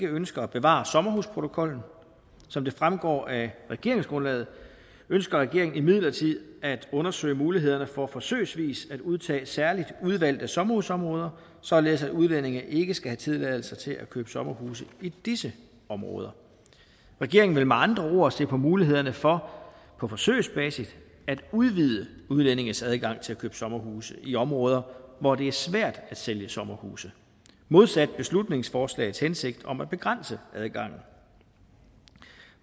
ønsker at bevare sommerhusprotokollen som det fremgår af regeringsgrundlaget ønsker regeringen imidlertid at undersøge mulighederne for forsøgsvis at udtage særligt udvalgte sommerhusområder således at udlændinge ikke skal have tilladelse til at købe sommerhuse i disse områder regeringen vil med andre ord se på mulighederne for på forsøgsbasis at udvide udlændinges adgang til at købe sommerhuse i områder hvor det er svært at sælge sommerhuse modsat beslutningsforslagets hensigt om at begrænse adgangen